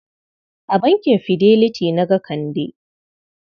A bankin Fidelity na ga Kande?